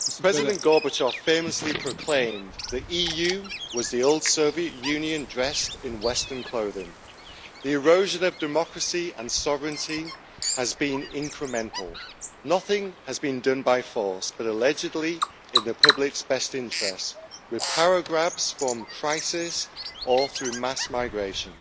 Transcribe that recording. Mr President, President Gorbachev famously proclaimed that the EU was the old Soviet Union dressed in western clothing. The erosion of democracy and sovereignty has been incremental. Nothing has been done by force, but allegedly in the public's best interests, with power grabs from crisis or through mass migration.